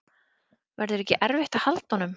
Verður ekki erfitt að halda honum?